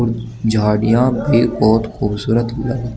झाड़ियां भी बहुत खूबसूरत लग--